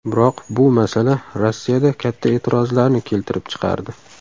Biroq bu masala Rossiyada katta e’tirozlarni keltirib chiqardi.